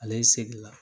Ale seginna